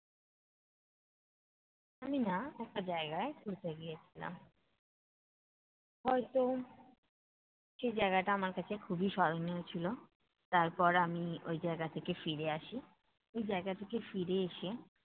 আমি না একটা জায়গায় ঘুরতে গিয়েছিলাম। হয়ত, সেই জায়গাটা আমার কাছে খুবই স্মরণীয় ছিল। তারপর আমি ওই জায়গা থেকে ফিরে আসি। ওই জায়গা থেকে ফিরে এসে